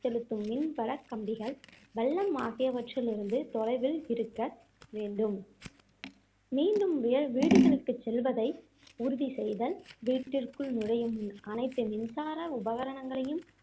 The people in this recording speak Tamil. செலுத்தும் மின் வடக்கம்பிகள் வள்ளம் ஆகியவற்றிலிருந்து தொலைவில் இருக்க வேண்டும் மீண்டும் வே~ வீடுகளுக்கு செல்வதை உறுதி செய்தல் வீட்டிற்குள் நுழையும் முன் அனைத்து மின்சார உபகரணங்களையும்